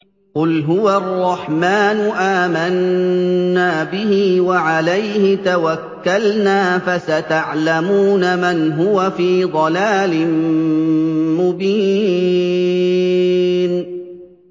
قُلْ هُوَ الرَّحْمَٰنُ آمَنَّا بِهِ وَعَلَيْهِ تَوَكَّلْنَا ۖ فَسَتَعْلَمُونَ مَنْ هُوَ فِي ضَلَالٍ مُّبِينٍ